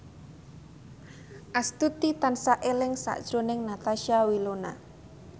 Astuti tansah eling sakjroning Natasha Wilona